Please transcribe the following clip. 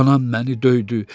Anam məni döydü.